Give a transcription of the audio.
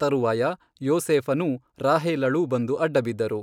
ತರುವಾಯ ಯೋಸೇಫನೂ ರಾಹೇಲಳೂ ಬಂದು ಅಡ್ಡಬಿದ್ದರು.